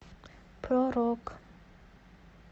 про рок